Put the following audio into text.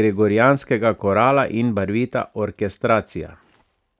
gregorijanskega korala in barvita orkestracija.